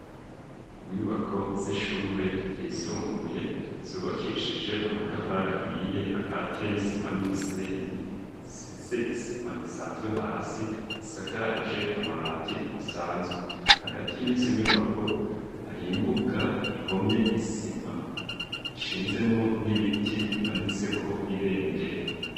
Inyubako z'ishure ryisumbuye zubakishije amatafari ahiye, akatiye n'isima n'umusenyi, isize isima isanzwe hasi, isakaje amabati asanzwe. Hagati y'izi nyubako hari imbuga ihomye isima, ishinzemwo n'ibiti bimanitseko ibendera.